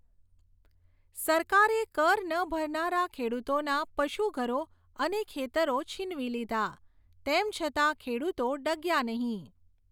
સરકારે કર ન ભરનારા ખેડુતોના પશુઘરો અને ખેતરો છીનવી લીધા, તેમ છતાં ખેડુતો ડગ્યા નહીં.